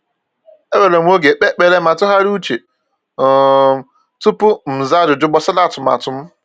Ewere m oge kpee ekpere ma tụgharịa uche um tupu m zaa ajụjụ gbasara atụmatụ m.